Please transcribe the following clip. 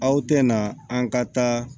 Aw tɛ na an ka taa